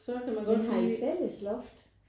Men har I fælles loft?